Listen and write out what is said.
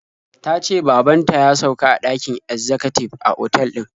Ta ce baban ta ya sauka a ɗakin ezzakatib a otal din.